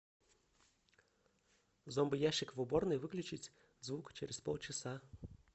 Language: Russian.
зомбоящик в уборной выключить звук через полчаса